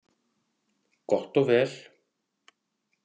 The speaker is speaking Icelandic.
Gott og vel.